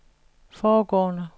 foregående